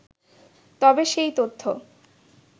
তবে সেই তথ্য